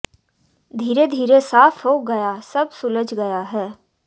धीरे धीरे साफ हो गया सब सुलझ गया है